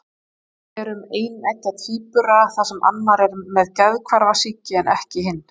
Dæmi eru um eineggja tvíbura þar sem annar er með geðhvarfasýki en ekki hinn.